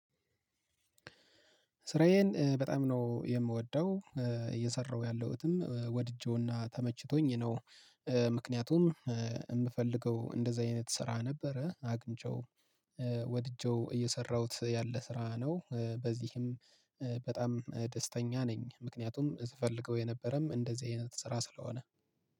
ስራዬን በጣም ነው የምወደው እየሰራሁ ያለሁትም ወድጄውና ተመችቶኝ ነው። ምክንያቱም የምፈልገው እንደዚህ አይነት ስራ ነበረ አግኝቼው ወድጄው እየሰራሁት ያለ ስራ ነው በዚህም በጣም ደስተኛ ነኝ። ምክንያቱም ስፍልገው የነበረም እንደዚህ አይነት ስራ ስለሆነ